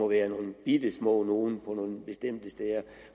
være nogle bittesmå nogle på nogle bestemte steder